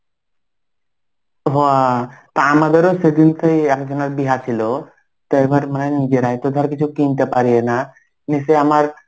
তা আমাদেরও সেদিনকে একজনের বিয়াহ ছিল তো এবার মানে নিজেরাই তোদের কিছু কিনতে পারি না নিশ্চয়ই আমার